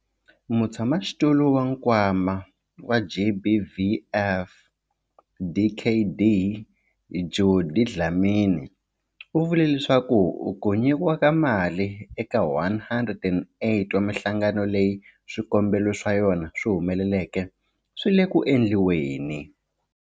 Mutshamaxitulu wa Nkwama wa GBVF, Dkd Judy Dlamini, u vule leswaku ku nyikiwa ka mali eka 108 wa mihlangano leyi swikombelo swa yona swi humeleleke swi le ku endliweni.